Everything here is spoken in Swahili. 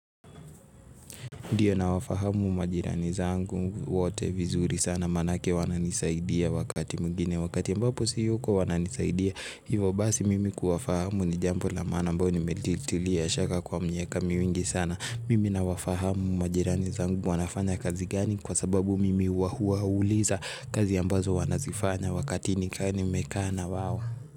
Ndio, nawafahamu majirani zangu wote vizuri sana manake wananisaidia wakati mwingine, wakati si yupo wananisaidia. Hivyo basi mimi kuwafahamu ni jambo ambalo nimelitilia shaka kwa miaka mingi sana mimi nawafahamu majirani, na wanafanya kazi gani kwa sababu mimi huwauliza kazi ambazo wanazifanya wakati nikiwa nimekaa na wao.